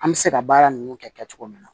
An bɛ se ka baara ninnu kɛ kɛ cogo min na